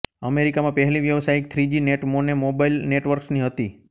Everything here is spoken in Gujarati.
અમેરિકામાં પહેલી વ્યાવસાયિક થ્રીજી નેટ મોને મોબઈલ નેટવર્ક્સની હતી